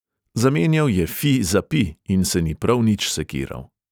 Zamenjal je fi za pi in se ni prav nič sekiral.